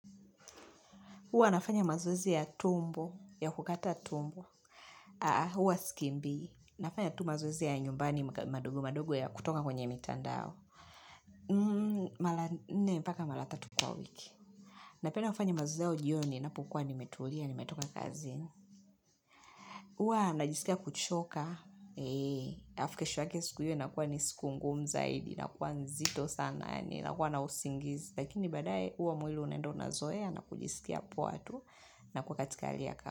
Hua anafanya mazoezi ya tumbo, ya kukata tumbo. Haha, huwa sikimbi. Nafanya tu mazoezi ya nyumbani madogo madogo ya kutoka kwenye mitandao. Me, mpaka mara tatu kwa wiki. Napenda kufanya mazoezi ya jioni, napokua nimetulia, nimetoka kazi. Huwa najisikia kuchoka. Alafu kesho yake siku hiyo inakua siku ngumu zaidi, na kua nzito sana, ninakua na usingizi. Lakini badae, huo mwili unaenda unazoe, na kujisikia poa tu, na kukatalia hapa.